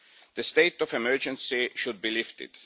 The state of emergency should be lifted.